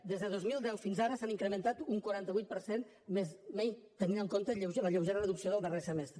des de dos mil deu fins ara s’han incrementat un quaranta vuit per cent tenint en compte la lleugera reducció del darrer semestre